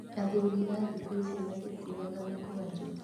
Athuri a thikũ ici matikuuaga mĩkwajũ